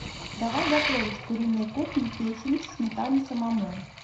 давай готовить куриной кухни печень в сметане самому